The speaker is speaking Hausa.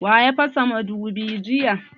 Wa ya fasa mudubin jiya?